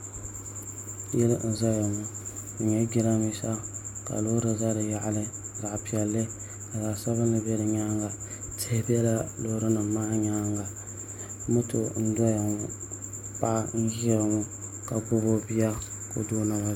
Yili n ʒɛya ŋo di nyɛla jiranbiisa ka loori ʒɛ di yaɣali zaɣ piɛlli ka zaɣ sabinki bɛ di nyaanga tihi biɛla loori nim maa nyaanga moto n doya ŋo paɣa n ʒiya ŋo ka gbubi o bia ka o do o naba zuɣu